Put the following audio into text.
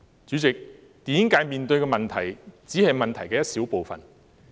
主席，電影界面對的只是問題的一小部分。